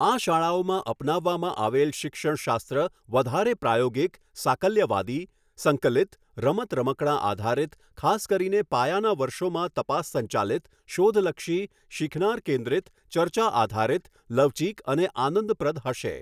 આ શાળાઓમાં અપનાવવામાં આવેલ શિક્ષણશાસ્ત્ર વધારે પ્રાયોગિક, સાકલ્યવાદી, સંકલિત, રમત રમકડાં આધારિત ખાસ કરીને પાયાનાં વર્ષોમાં તપાસ સંચાલિત, શોધલક્ષી, શીખનાર કેન્દ્રિત, ચર્ચા આધારિત, લવચીક અને આનંદપ્રદ હશે.